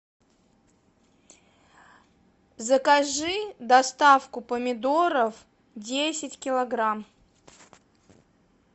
закажи доставку помидоров десять килограмм